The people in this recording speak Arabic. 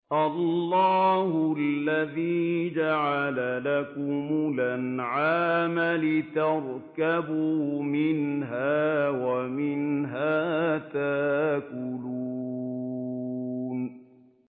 اللَّهُ الَّذِي جَعَلَ لَكُمُ الْأَنْعَامَ لِتَرْكَبُوا مِنْهَا وَمِنْهَا تَأْكُلُونَ